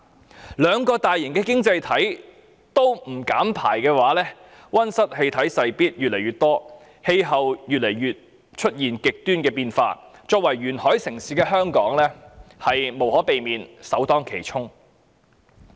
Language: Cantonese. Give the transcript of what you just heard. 若兩個大型的經濟體都不減排，溫室氣體勢必越來越多，出現極端氣候的機會便越更頻繁。